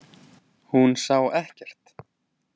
Hún sá ekkert.